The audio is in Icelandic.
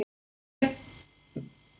Hvar mundi þessi yfirgangur enda?